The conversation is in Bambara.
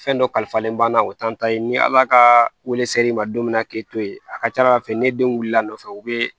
Fɛn dɔ kalifalen ba na o t'an ta ye ni ala ka wele ser'i ma don min na k'e to yen a ka ca ala fɛ ne denw wulila nɔfɛ u be